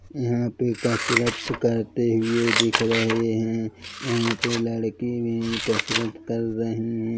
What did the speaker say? यहाँ पे कसरत करते हुए दिख रहे है यहाँ पे लड़की भी कसरत कर रहीं है।